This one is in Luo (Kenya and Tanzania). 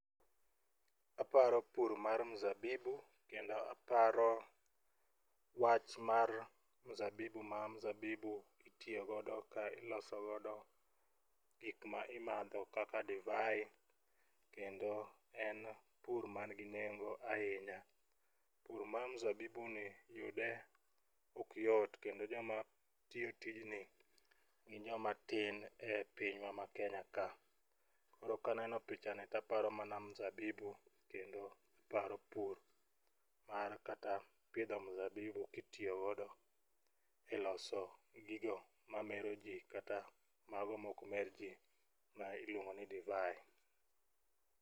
Aparo pur mar mzabibu kendo aparo wach mar mzabibu ma mzabibu itiyogodo ka ilosogodo gik ma imadho kaka divai kendo en pur mangi nengo ahinya. Pur ma mzabibuni yude ok yot kendo jomatiyo tijni gin joma tin e pinywa ma Kenya ka. Koro kaneno pichani taparo mana mzabibu kendo paro pur mar kata pidho mzabibu kitiyogodo e loso gigo mameroji kata mago mokmer ji ma iluongo ni divai.